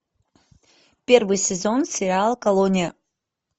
первый сезон сериал колония